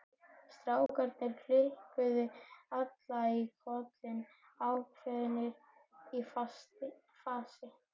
Strákarnir kinkuðu allir kolli ákveðnir í fasi.